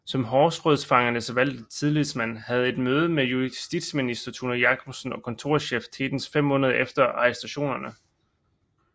Som Horserødfangernes valgte tillidsmand havde han et møde med justitsminister Thune Jacobsen og kontorchef Tetens fem måneder efter arrestationerne